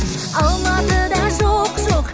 алматыда жоқ жоқ